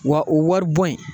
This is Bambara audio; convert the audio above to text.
Wa o wari bɔ in